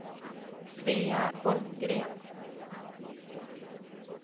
Svea Holmgren